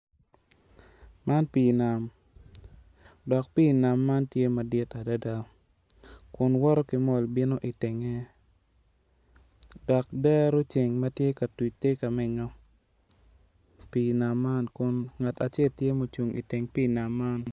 Man pii nam, dok pii nam man tye madit adada kun woto ki mol bino itenge dok dero ceng matye ka tuc tye ka menyo pii nam man kun ngat acel tye ma ocung iteng pii nam man